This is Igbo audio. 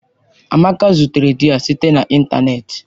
Amaka zutere di ya site na ịntanetị.